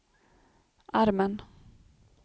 armen